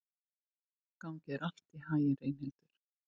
Gangi þér allt í haginn, Reynhildur.